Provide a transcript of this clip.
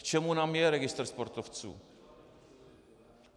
K čemu nám je registr sportovců?